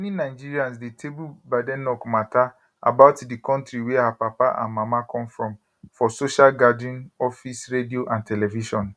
many nigerians dey table badenoch mata about di kontri wia her papa and mama come from for social gathering office radio and television